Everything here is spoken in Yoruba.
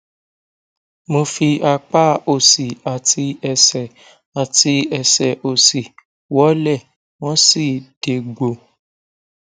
mo fi apá òsì àti ẹsẹ àti ẹsẹ òsì wọlẹ wọn sì dégbò